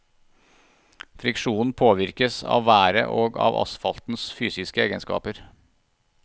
Friksjonen påvirkes av været og av asfaltens fysiske egenskaper.